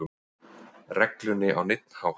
reglunni á neinn hátt.